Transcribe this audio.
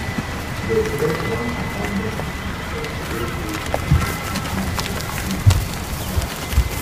dem set one abanAcceptedd police truck wey dey stationed outside di gates on fire